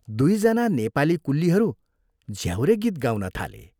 दुइजना नेपाली कुल्लीहरू झ्याउरे गीत गाउन थाले।